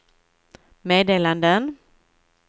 meddelanden